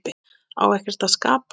Á ekkert að skapa?